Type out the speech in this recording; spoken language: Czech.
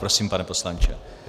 Prosím, pane poslanče.